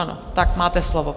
Ano, tak máte slovo.